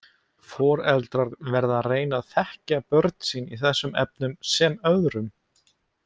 Foreldrar verða að reyna að þekkja sín börn í þessum efnum sem öðrum.